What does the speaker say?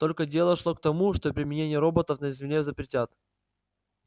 тогда дело шло к тому что применение роботов на земле запретят